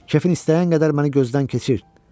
Kefin istəyən qədər məni gözdən keçir.